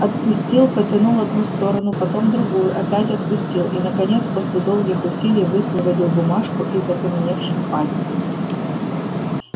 отпустил потянул одну сторону потом другую опять отпустил и наконец после долгих усилий высвободил бумажку из окаменевших пальцев